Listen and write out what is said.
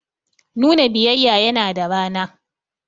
Nuna biyayya yana da rana.